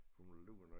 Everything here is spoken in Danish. Hun er på lur når jeg